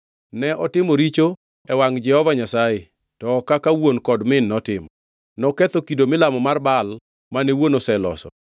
Ne otimo richo e wangʼ Jehova Nyasaye, to ok kaka wuon kod min notimo. Noketho kido milamo mar Baal mane wuon oseloso.